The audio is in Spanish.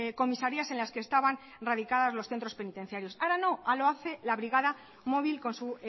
comisarías en las que estaban radicadas los centros penitenciarios ahora no ahora lo hace la brigada móvil con su